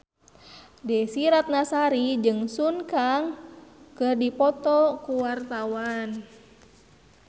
Desy Ratnasari jeung Sun Kang keur dipoto ku wartawan